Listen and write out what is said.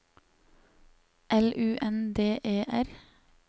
L U N D E R